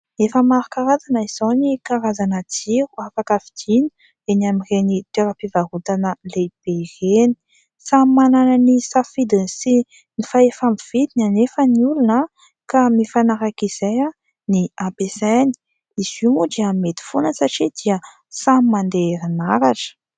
Efa maro karazana izao ny karazana jiro afaka vidiana eny amin'ireny toera-pivarotana lehibe ireny, samy manana ny safidiny sy ny fahefa-mividiny nefa ny olona ka mifanaraka izay no ampiasainy ; izy io moa dia mety foana satria dia samy mandeha amin'ny herinaratra.